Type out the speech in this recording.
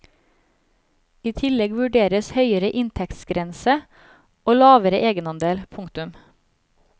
I tillegg vurderes høyere inntektsgrenser og lavere egenandel. punktum